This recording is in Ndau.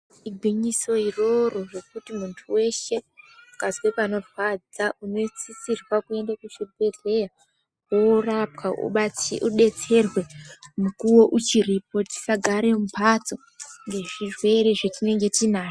Igwinyiso iroro rekuti muntu weshe ukanzwe pano rwadza unosisirwa kuenda ku zvibhedhlera worapwa udetserwe mukuvo uchipo tisagare mu mbatso nge zvirwere zvatinenge tinazvo.